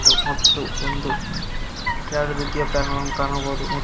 ಮತ್ತು ಒಂದು ಎರಡು ರೀತಿಯ ಫ್ಯಾನ್ ಅನ್ನು ಕಾಣಬಹುದು.